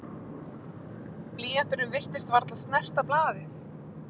Blýanturinn virtist varla snerta blaðið.